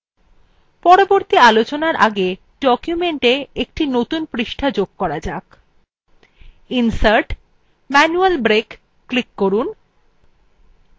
পরবর্তী আলোচনার আগে documenta একটি নতুন পৃষ্ঠা যুক্ত করা যাক nsert>> manual break ক্লিক করুন এবং page break বিকল্পটি বেছে নিন